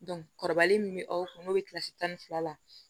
kɔrɔbalen min bɛ aw kun n'o bɛ kilasi tan ni fila la